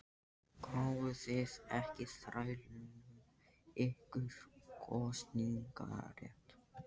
Gáfuð þið ekki þrælunum ykkar kosningarétt?